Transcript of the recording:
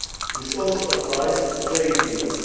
This also applies to trade deals.